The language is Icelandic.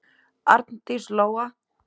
Arndís Lóa.